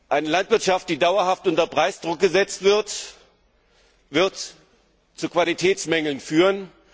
Eine Landwirtschaft, die dauerhaft unter Preisdruck gesetzt wird, wird zu Qualitätsmängeln führen.